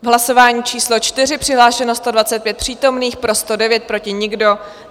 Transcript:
V hlasování číslo 4 přihlášeno 125 přítomných, pro 109, proti nikdo.